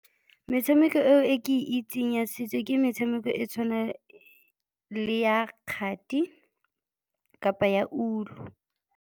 Metshameko eo e ke itseng ya setso ke metshameko e tshwana le ya kgati kapa ya ulu.